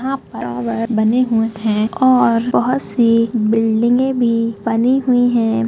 यहाँ पर टावर बने हुये है और बहुत सी बिलडिगे भी बनी हुये है।